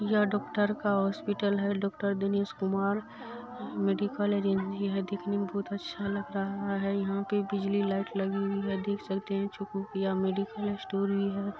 ये डॉक्टर का हॉस्पिटल है डॉक्टर दिनेश कुमार मेडिकल है जिनकी क्लिनिक दिखने मे बहुत अच्छा लग रहा है यहाँ पे बिजली लाइट लगी हुई है देख सकते है चूक भुकिया मेडिकल स्टोर भी है।